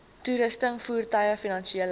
toerusting voertuie finansiële